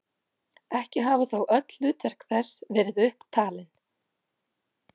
Ekki hafa þó öll hlutverk þess verið upp talin.